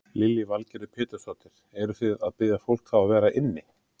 Lillý Valgerður Pétursdóttir: Eruð þið að biðja fólk þá að vera inni?